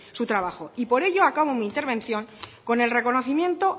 su trabajo por ello acabo mi intervención con el reconocimiento